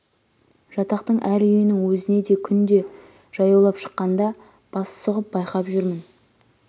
жатақтың әр үйінің өзіне де күнде жаяулап шыққанда бас сұғып байқап жүрмін